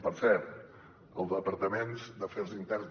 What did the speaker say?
per cert els departaments d’afers interns